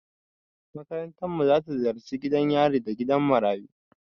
Makarantarmu za ta ziyarci gidan yari da gidan marayu.